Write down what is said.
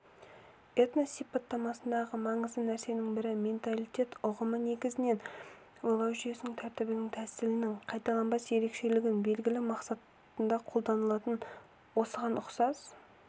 этнос сипаттамасындағы маңызды нәрсенің бірі менталитет ұғымы негізінен ойлау жүйесінің тәртібінің тәсілінің қайталанбас ерекшелігін белгілеу мақсатында қолданылады осыған ұқсас